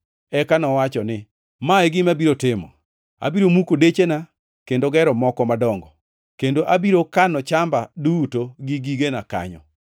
“Eka nowacho ni, ‘Ma e gima abiro timo. Abiro muko dechena kendo gero moko madongo, kendo abiro kano chamba duto gi gigena kanyo.